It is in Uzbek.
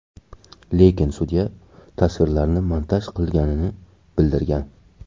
Lekin sudya tasvirlarni montaj qilinganini bildirgan.